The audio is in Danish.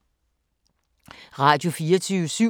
Radio24syv